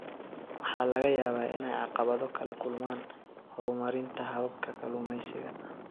Waxaa laga yaabaa inay caqabado kala kulmaan horumarinta hababka kalluumeysiga.